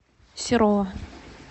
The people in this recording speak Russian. серова